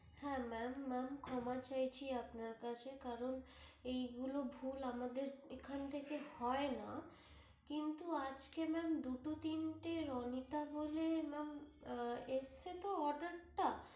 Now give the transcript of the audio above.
হ্যাঁ ma'am ক্ষমা চাইছি আপনার কাছে কারণ এইগুলো ভুল আমাদের এখান থেকে হয়না কিন্তু আজকে ma'am দুটো তিনটে রণিতা বলে নাম এসেছে তো order টা।